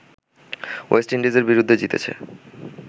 West ইন্ডিজের বিরুদ্ধে জিতেছে